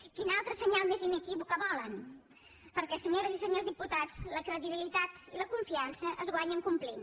quin altre senyal més inequívoc volen perquè senyores i senyors diputats la credibilitat i la confiança es guanyen complint